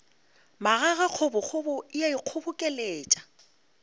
magage kgobokgobo e a ikgobokeletša